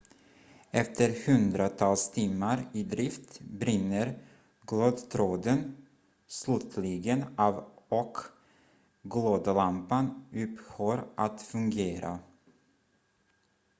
efter hundratals timmar i drift brinner glödtråden slutligen av och glödlampan upphör att fungera